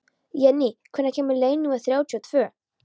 Jenný, hvenær kemur leið númer þrjátíu og tvö?